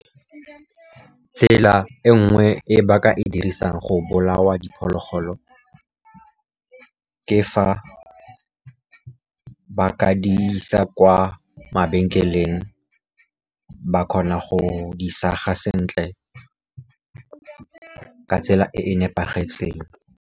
Tsela e nngwe e baka e dirisang go bolaya diphologolo, ke fa ba ka di isa kwa mabenkeleng, ba kgona go di saga sentle ka tsela e e nepagetseng.